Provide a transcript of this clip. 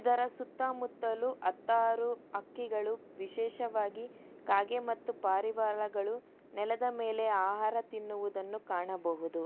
ಅದರ ಸುತ್ತ ಮುತ್ತಲು ಅತ್ತಾರು ಹಕ್ಕಿಗಳು ವಿಶೇಷವಾಗಿ ಕಾಗೆ ಮತ್ತು ಪಾರಿವಾಳಗಳು ನೆಲದ ಮೇಲೆ ಆಹಾರ ತಿನ್ನುವುದನ್ನು ಕಾಣಬಹುದು.